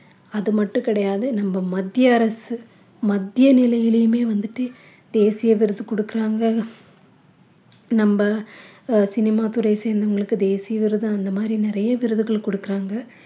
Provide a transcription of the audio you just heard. அது மட்டும் கிடையாது நம்ம மத்திய அரசு மத்திய நிலையிலையுமே வந்துட்டு தேசிய விருது குடுக்கிறாங்க நம்ப அஹ் சினிமா துரைய சேர்ந்தவங்களுக்கு தேசிய விருது அந்த மாதிரி நிறைய விருதுகள் குடுக்குறாங்க